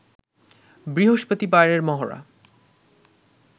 বৃহস্পতিবারের মহড়া